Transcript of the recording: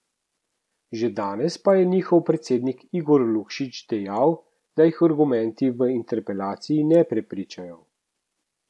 Že danes pa je njihov predsednik Igor Lukšič dejal, da jih argumenti v interpelaciji ne prepričajo.